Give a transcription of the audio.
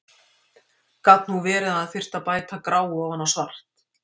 Gat nú verið að hann þyrfti að bæta gráu ofan á svart!